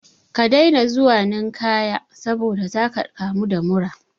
Ka daina zuwa ninkaya saboda zaka ɗau mura